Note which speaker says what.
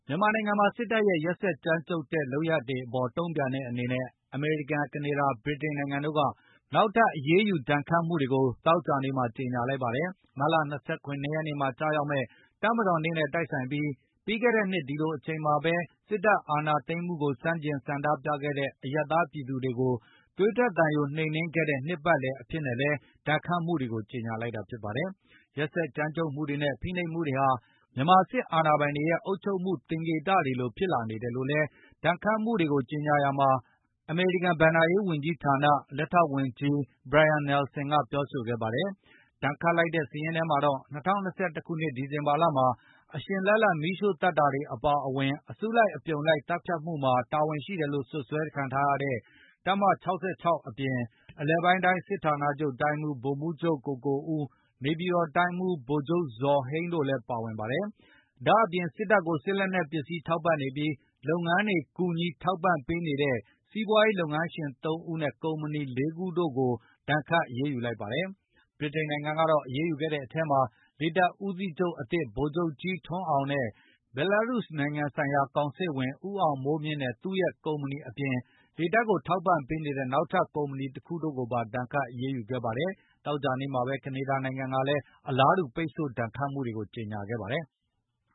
Speaker 1: မြန်မာနိုင်ငံမှာ စစ်တပ်ရဲ့ ရက်စက်ကြမ်းကြုတ်တဲ့ လုပ်ရပ်တွေအပေါ် တုံ့ပြန်တဲ့ အနေနဲ့ အမေရိကန်၊ ကနေဒါ၊ ဗြိတိန်နိုင်ငံတို့က နောက်ထပ် အရေးယူ ဒဏ်ခတ်မှုတွေကို ကြေညာလိုက်ပါတယ်။ မတ်လ ၂၇ ရက်နေ့မှာကျရောက်မယ့် တပ်မတော်နေ့နဲ့တိုက်ဆိုင်ပြီး၊ ပြီးခဲ့တဲ့နှစ် ဒီလိုအချိန်မှာပဲ စစ်တပ်အာဏာသိမ်း မှုကိုဆန့်ကျင်ဆန္ဒပြခဲ့တဲ့အရပ်သားပြည်သူတွေကိုသွေးထွက်သံယိုနှိမ်နင်းခဲ့ တဲ့နှစ်ပတ်လည်အဖြစ်နဲ့လည်း ဒဏ်ခတ်မှုတွေကို ကြေညာလိုက်တာ ဖြစ်ပါတယ်။ ရက်စက်ကြမ်းကြုတ်မှုတွေနဲ့ ဖိနှိပ်မှုတွေဟာ မြန်မာစစ်အာဏာပိုင်တွေရဲ့ အုပ်ချုပ်မှု သင်္ကေတတွေလို ဖြစ်လာနေတယ်လို့လည်း ဒဏ်ခတ်မှုတွေကို ကြေညာရာမှာ အမေရိကန် ဘဏ္ဍာရေးဝန်ကြီးဌာန လက်ထောက်ဝန်ကြီး Brian Nelson ကပြောပါတယ်။ ဒဏ်ခတ်လိုက်တဲ့ စာရင်းထဲမှာတော့ ၂၀၂၁ ခုနှစ် ဒီဇင်ဘာလမှာ အရှင်လတ်လတ် မီးရှို့သတ်တာ အပါအဝင် အစုလိုက်အပြုံလိုက် သတ်ဖြတ်မှုမှာ တာဝန်ရှိတယ်လို့ စွပ်စွဲထားတဲ့ တပ်မ ၆၆ အပြင်၊ အလယ်ပိုင်းတိုင်းစစ်ဌာနချုပ်တိုင်းမှူး ဗိုလ်မှူးချုပ် ကိုကိုဦး၊ နေပြည်တော်တိုင်းမှူး ဗိုလ်ချုပ် ဇော်ဟိန်း တို့လည်း ပါဝင်ပါတယ်။ ဒါ့အပြင်၊ စစ်တပ်ကိုစစ်လက်နှက်ပစ္စည်းထောက်ပံ့နေပြီး၊ လုပ်ငန်းတွေကူ ညီ ထောက်ပံ့ပေးနေတဲ့စီးပွားရေးလုပ်ငန်းရှင် ၃ ဦးနဲ့ ကုမ္ပဏီ ၄ ခုတို့ကို ဒါဏ်ခတ်အရေးယူလိုက်ပါတယ်။ ဗြိတိန်နိုင်ငံကအရေးယူခဲ့တဲ့အထဲမှာ လေတပ်ဦးစီးချုပ်အသစ် ဗိုလ်ချုပ်ကြီးထွန်းအောင်နဲ့ ဘဲလာရုစ်နိုင်ငံဆိုင်ရာကောင်စစ်ဝန် ဦးအောင်မိုးမြင့်နဲ့သူ့ရဲ့ ကုမပဏီအပြင်၊လေတပ်ကိုထောက်ပံပေးနေတဲ့နောက်ထပ်ကုမ္ပဏီတခုတို့ကိုပါဒါဏ်ခတ် ရေးယူခဲ့ပါတယ်။ သောကြာနေ့မှာပဲ ကနေဒါနိုင်ငံကလည်း အလားတူ ပိတ်ဆို့ဒဏ်ခတ်မှုတွေကို ကြေညာခဲ့ပါတယ်။